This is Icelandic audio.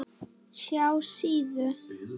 SJÁ SÍÐU.